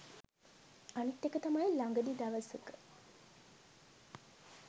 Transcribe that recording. අනිත් එක තමයි ළඟදි දවසක